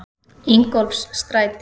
Ingólfsstræti